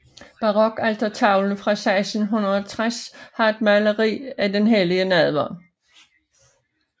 Barokaltertavlen fra 1650 har et maleri af den hellige nadver